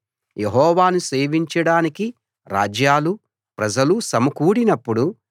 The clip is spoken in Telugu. యెహోవాను సేవించడానికి రాజ్యాలూ ప్రజలూ సమకూడినప్పుడు